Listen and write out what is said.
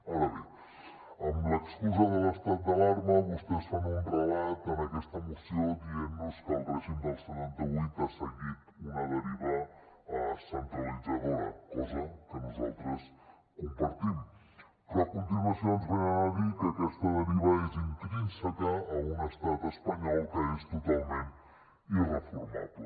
ara bé amb l’excusa de l’estat d’alarma vostès fan un relat en aquesta moció dient nos que el règim del setanta vuit ha seguit una deriva centralitzadora cosa que nosaltres compartim però a continuació ens venen a dir que aquesta deriva és intrínseca a un estat espanyol que és totalment irreformable